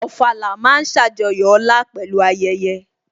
Ofala ma ń ṣàjọyọ̀ ọlá pẹ̀lú ayẹyẹ